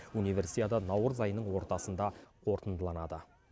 универсиада наурыз айының ортасында қорытындыланады